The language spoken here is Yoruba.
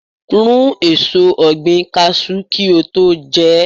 Rún èso ọ̀gbìn Kaṣú kí o tó jẹ ẹ́.